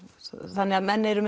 þannig að menn eru